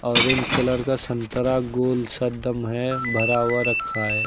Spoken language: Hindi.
ऑरेंज कलर का संतरा गोल सा एक दम है भरा हुआ रखा है।